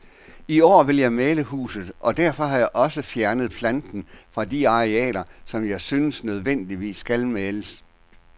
I år vil jeg male huset, og derfor har jeg også fjernet planten fra de arealer, som jeg synes nødvendigvis skal males.